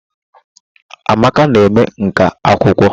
Amaka na eme nkà akwụkwọ.